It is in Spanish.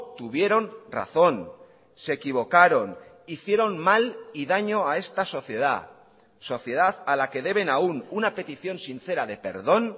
tuvieron razón se equivocaron hicieron mal y daño a esta sociedad sociedad a la que deben aún una petición sincera de perdón